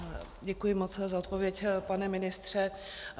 Děkuji moc za odpověď, pane ministře.